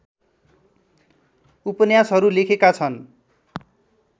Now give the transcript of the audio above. उपन्यासहरू लेखेका छन्